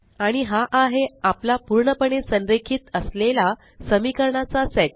आणि हा आहे आपला पूर्णपणे संरेखित असलेला समीकरणाचा सेट